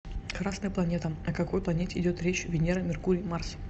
красная планета о какой планете идет речь венера меркурий марс